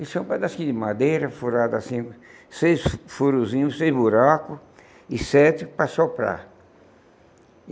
Isso é um pedaço de madeira furada assim, seis furosinhos, seis buracos e sete para soprar.